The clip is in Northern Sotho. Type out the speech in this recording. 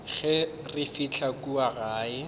ge re fihla kua gae